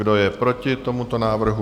Kdo je proti tomuto návrhu?